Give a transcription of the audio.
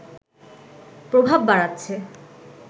প্রভাব বাড়াচ্ছে